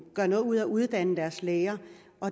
gør noget ud af at uddanne deres læger